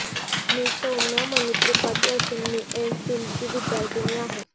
मी सौम्या मणी त्रिपाठी असून मी एमफीलची विद्यार्थीनी आहे